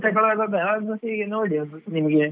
ತಕೊಳುವಾಗ ಆಗ್ ವಸಿ ನೋಡಿ ನಿಮ್ಗೆ.